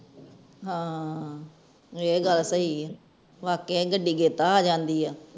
ਹਾਂ ਇਹ ਗਲ ਸਹੀ ਹੈ ਵਾਕੇ ਹੀ ਗਡੀ ਗੇਤਰੇ ਹੀ ਆ ਜਾਂਦੀ ਹੈ